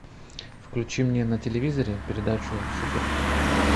включи мне на телевизоре передачу супер